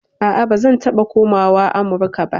A'a, ba zan taɓa komawa Amurka ba.